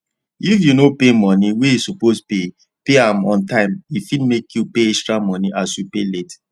if you no pay money wey you suppose pay pay um on time e fit make you pay extra money as you pay late